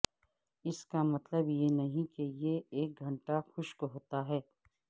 اس کا مطلب یہ نہیں کہ یہ ایک گھنٹہ خشک ہوتا ہے